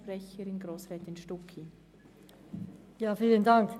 Kommissionssprecherin der FiKo-Minderheit.